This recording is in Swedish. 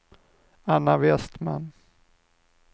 Anna Westman